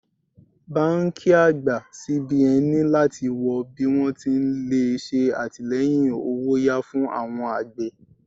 Báńkì àgbà CBN ní láti wọ bí wón ti lè ṣe àtìleyìn owó'yá fún awon àgbè.